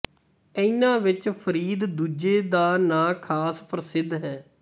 ਇਨ੍ਹਾਂ ਵਿੱਚ ਫ਼ਰੀਦ ਦੂਜੇ ਦਾ ਨਾਂ ਖ਼ਾਸ ਪ੍ਰਸਿੱਧ ਹੈ